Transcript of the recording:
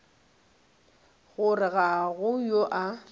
gore ga go yo a